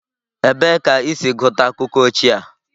Ebee ka i si gụta akụkọ ochie a?